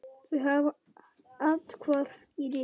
Þau hafa athvarf í risinu.